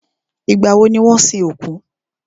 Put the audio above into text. Ìgbà wọ ni wọ́n sin òkú?